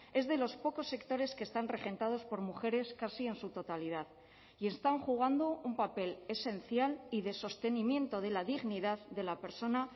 es de los pocos sectores que están regentados por mujeres casi en su totalidad y están jugando un papel esencial y de sostenimiento de la dignidad de la persona